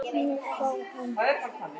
Hann má fá hann